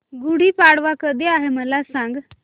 गुढी पाडवा कधी आहे मला सांग